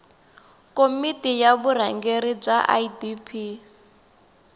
komiti ya vurhangeri bya idp